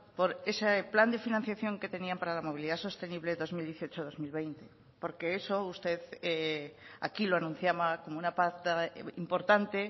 por ese plan de financiación que tenían para la movilidad sostenible dos mil dieciocho dos mil veinte porque eso usted aquí lo anunciaba como una pata importante